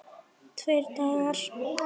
Tveir dagar!